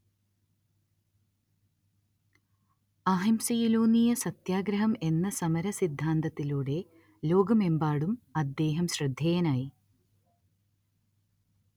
അഹിംസയിലൂന്നിയ സത്യാഗ്രഹം എന്ന സമര സിദ്ധാന്തത്തിലൂടെ ലോകമെമ്പാടും അദ്ദേഹം ശ്രദ്ധേയനായി